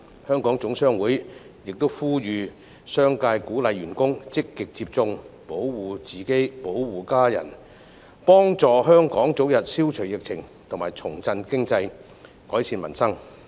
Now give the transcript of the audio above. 香港總商會也呼籲商界鼓勵員工積極接種，保護自己、保護家人，幫助香港早日消除疫情，重振經濟，改善民生。